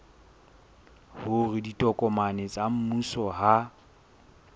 hore ditokomane tsa mmuso ha